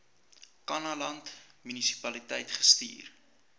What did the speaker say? kannaland munisipaliteit gestuur